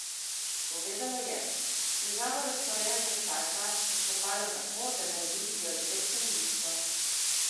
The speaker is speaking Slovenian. Povedala je: 'S težavo razporejanja časa se spopadam tako, da naredim prioritetno listo.